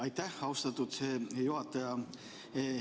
Aitäh, austatud juhataja!